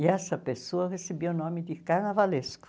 E essa pessoa recebia o nome de Carnavalesco.